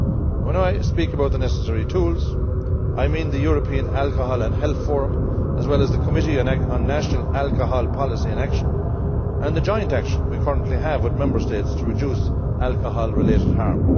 When I speak about the necessary tools I mean the European Alcohol and Health Forum as well as the Committee on National Alcohol Policy in Action, and the joint action we currently have with Member States to reduce alcohol related harm.